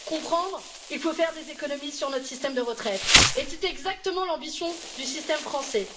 Comprendre il faut faire des économies sur notre système de retraite et c'est exactement l'ambition du système français.